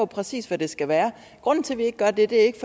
præcis skal være grunden til at vi ikke gør det er ikke